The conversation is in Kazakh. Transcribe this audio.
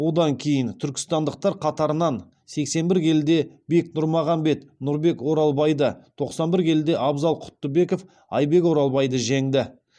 одан кейін түркістандықтар қатарынан сексен бір келіде бек нұрмағанбет нұрбек оралбайды тоқсан бір келіде абзал құттыбеков айбек оралбайды жеңді